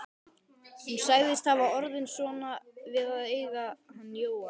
Hún sagðist hafa orðið svona við að eiga hann Jóa.